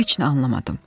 Heç nə anlamadım.